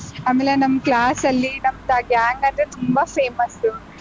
ಆಮೇಲೆ ನಮ್ಮ್ class ಅಲ್ಲಿ ನಮ್ದ್ ಆ gang ಅಂದ್ರೆ ತುಂಬಾ famous .